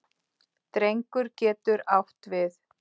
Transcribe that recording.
Drengur getur átt við